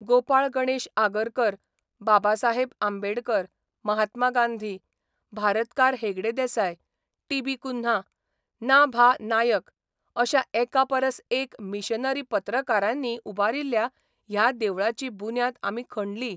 गोपाळ गणेश आगरकर, बाबासाहेब आंबेडकर, महात्मा गांधी, भारतकार Hegde Desai, T B Cunha ना भा नायक अश्या एकापरस एक मिशनरी पत्रकारांनी उबारिल्ल्या ह्या देवळाची बुन्याद आमी खणली.